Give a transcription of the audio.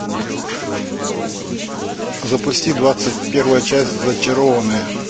запусти двадцать первая часть зачарованные